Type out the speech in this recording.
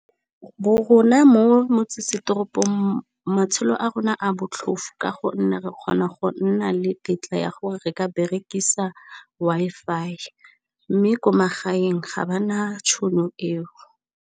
Rona mo motsesetoropong matshelo a rona a botlhofo, ka gonne re kgona go nna le tetla ya gore re ka berekisa Wi-Fi mme ko magaeng ga ba na tšhono eo.